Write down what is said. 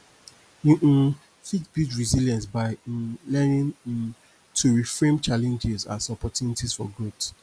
you um fit build resilience by um learning um to reframe challenges as opportunities for growth